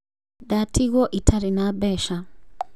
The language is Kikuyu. Ndatigwo itarĩ na mbeca